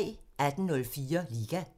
18:04: Liga